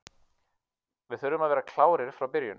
Við þurfum að vera klárir frá byrjun.